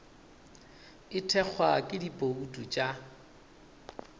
e thekgwa ke dibouto tša